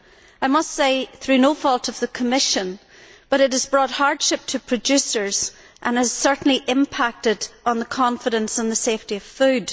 This, I must say, is through no fault of the Commission's, but it has brought hardship to producers and has certainly had an impact on confidence in the safety of food.